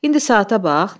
İndi saata bax.